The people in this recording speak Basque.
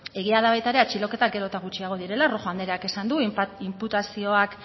ez egia da baita ere atxiloketan gero eta gutxiago direla rojo andreak esan du inputazioak